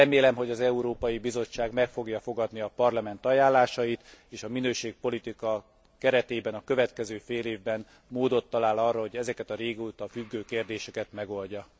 Remélem, hogy az Európai Bizottság meg fogja fogadni a Parlament ajánlásait és a minőségpolitika keretében a következő félévben módot talál arra, hogy ezeket a régóta függő kérdéseket megoldja.